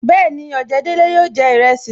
Bẹẹni, ojedele yóò jẹ iresi